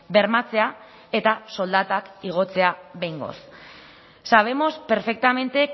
bermatzea eta soldatak igotzea behingoz sabemos perfectamente